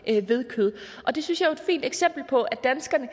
ved kød og det synes jeg er et fint eksempel på at danskerne